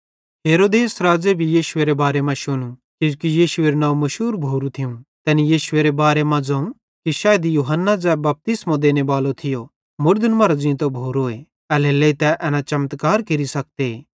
हेरोदेस राज़े भी यीशुएरे बारे मां शुनू किजोकि यीशुएरू नंव मुशूर भोरू थियूं तैनी यीशुएरे बारे मां ज़ोवं कि शायद यूहन्ना ज़ै बपतिस्मो देनेबालो थियो मुड़दन मरां ज़ींतो भोरोए एल्हेरेलेइ तै एना चमत्कार केरि सकते